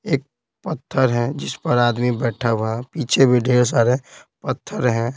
एक पत्थर है जिस पर आदमी बैठा हुआ है पीछे भी ढेर सारे पत्थर है।